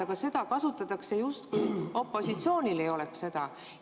Aga seda kasutatakse nii, justkui opositsioonil ei oleks seda.